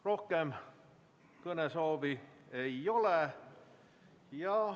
Rohkem kõnesoove ei ole.